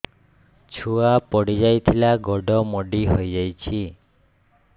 ଛୁଆ ପଡିଯାଇଥିଲା ଗୋଡ ମୋଡ଼ି ହୋଇଯାଇଛି